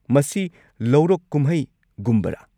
ꯃꯁꯤ ꯂꯧꯔꯣꯛ ꯀꯨꯝꯍꯩꯒꯨꯝꯕꯔꯥ?